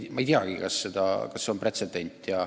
Ma ei teagi, kas see on pretsedent.